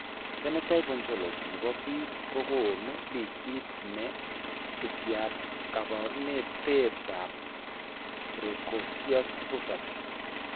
Phenotype Ontology ne po biik ko konu listit ne subiap kaabarunetap Precocious puberty.